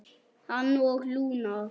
Hann og Lúna.